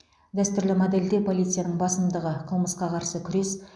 дәстүрлі модельде полицияның басымдығы қылмысқа қарсы күрес